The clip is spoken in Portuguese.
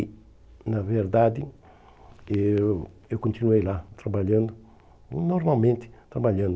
E, na verdade, eu eu continuei lá, trabalhando, normalmente trabalhando.